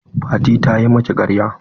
Fati ta yi miki ƙarya?